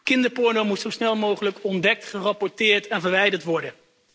Kinderporno moet zo snel mogelijk ontdekt, gerapporteerd en verwijderd worden.